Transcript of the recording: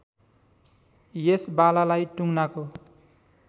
यस बालालाई टुङ्नाको